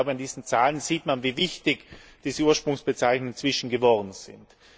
An diesen Zahlen sieht man, wie wichtig diese Ursprungsbezeichnungen inzwischen geworden sind.